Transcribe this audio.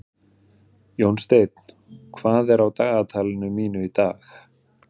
Jónsteinn, hvað er á dagatalinu mínu í dag?